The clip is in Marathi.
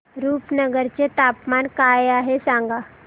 रुपनगर चे तापमान काय आहे सांगा